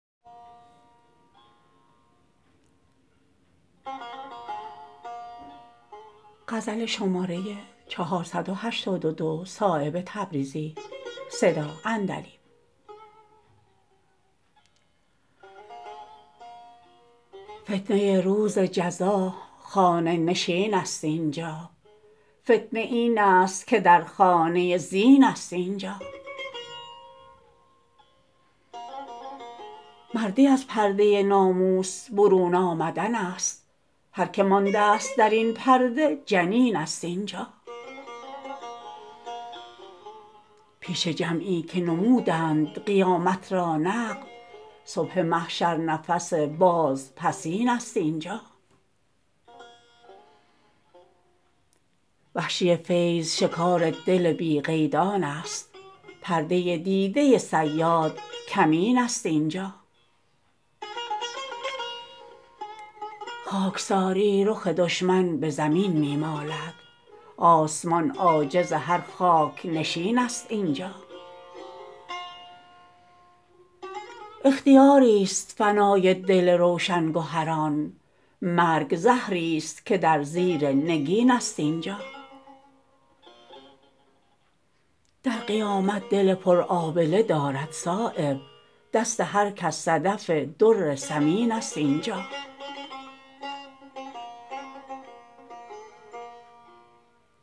فتنه روز جزا خانه نشین است اینجا فتنه این است که در خانه زین است اینجا مردی از پرده ناموس برون آمدن است هر که مانده است درین پرده جنین است اینجا پیش جمعی که نمودند قیامت را نقد صبح محشر نفس باز پسین است اینجا وحشی فیض شکار دل بی قیدان است پرده دیده صیاد کمین است اینجا خاکساری رخ دشمن به زمین می مالد آسمان عاجز هر خاک نشین است اینجا اختیاری است فنای دل روشن گهران مرگ زهری است که در زیر نگین است اینجا در قیامت دل پر آبله دارد صایب دست هر کس صدف در ثمین است اینجا